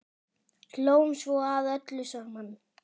Hlógum svo að öllu saman.